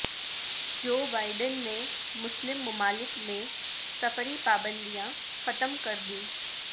Joe Biden نے مسلم ممالک میں سفری پابندیاں ختم کردیں